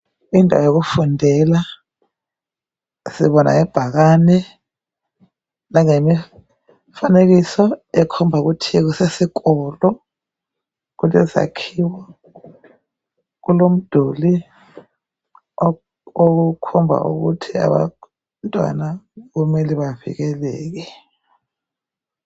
Indawo yokufundela. Sibona ngebhakane, langemifanekiso ekhomba ukuthi kusesikolo. Kulesakhiwo, kulomduli okukhomba ukuthi abantwana kumele bavikeleke.